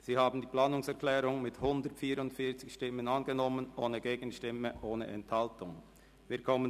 Sie haben die Planungserklärung mit 144 Stimmen ohne Gegenstimme und ohne Enthaltung angenommen.